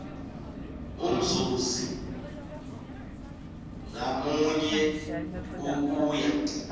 umzuzi ngamunye ukuya